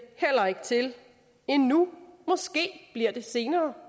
heller ikke til endnu måske bliver det senere